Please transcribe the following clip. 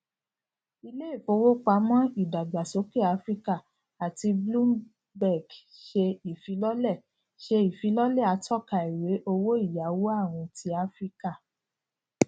ilé ìfowópamọ idagbasoke afirika ati bloomberg ṣe ifilọlẹ ṣe ifilọlẹ atọka iwe owóìyáwó awin ti afirika